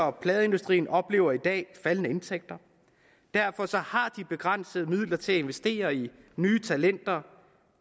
og pladeindustrien oplever i dag faldende indtægter derfor har de begrænsede midler til at investere i nye talenter